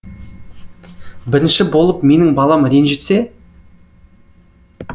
бірінші болып менің балам ренжітсе